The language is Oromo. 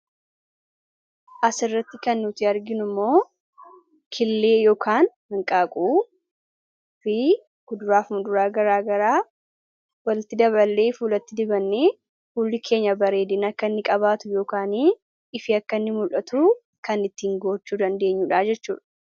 asirratti kan nuti arginu immoo killee yookaan manqaaquu fi kuduraafuma duraa garaa garaa walitti daballee f ulatti dibanne hul'i keenya bareedin akka inni qabaatu yookaanii ifi akkanni mul'atu kan ittiin goochuu dandeenyuudha jechuudha